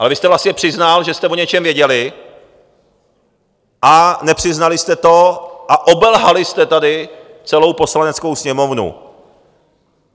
Ale vy jste vlastně přiznal, že jste o něčem věděli, a nepřiznali jste to a obelhali jste tady celou Poslaneckou sněmovnu.